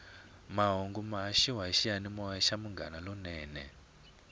mahungu ya haxiwa hi xiyanimoya xa munghana lonene